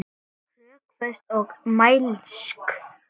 Rökföst og mælsk.